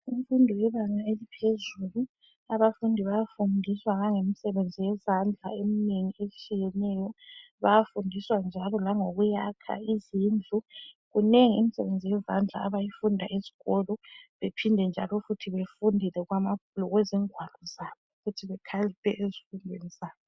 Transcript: Imfundo yebanga eliphezulu abafundi bayafundiswa ngangemisebenzi yezandla emnengi etshiyeneyo bayafundiswa njalo langokuyakha izindlu kunengi imisebenzi yezandla abayifuna esikolo bephinde njalo futhi befunde lokwezingwalo zabo ukuthi bekhaliphe ezifundeni zabo.